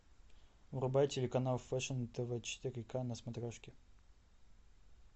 врубай телеканал фэшн тв четыре ка на смотрешке